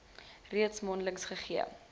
redes mondeliks gegee